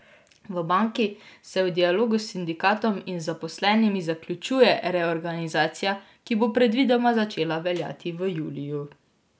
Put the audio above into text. V banki se v dialogu s sindikatom in z zaposlenimi zaključuje reorganizacija, ki bo predvidoma začela veljati v juliju.